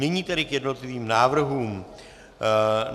Nyní tedy k jednotlivým návrhům.